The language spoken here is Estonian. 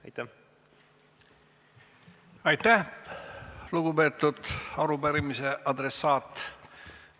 Aitäh, lugupeetud arupärimise adressaat!